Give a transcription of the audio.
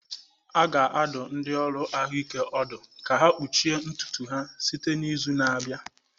A ga-adụ ndị ọrụ ahụike ọdụ ka ha kpuchie ntutu ha site n'izu na-abịa